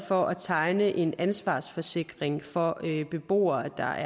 for at tegne en ansvarsforsikring for beboere der